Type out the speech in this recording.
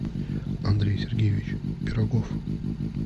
андрей сергеевич пирогов